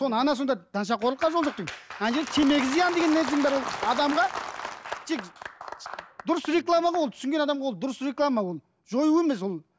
ана сонда нашақорлыққа жол жоқ дейді ана жерде темекі зиян деген нәрсенің бәрі ол адамға тек дұрыс реклама ғой ол түсінген адамға ол дұрыс реклама ол жою емес ол